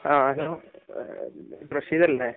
ആ ഹലോ, റഷീദ് അല്ലേ?